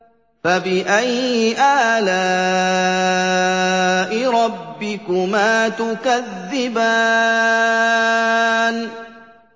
فَبِأَيِّ آلَاءِ رَبِّكُمَا تُكَذِّبَانِ